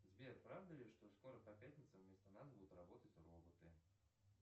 сбер правда ли что скоро по пятницам вместо нас будут работать роботы